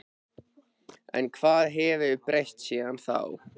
En hvað hefur breyst síðan þá?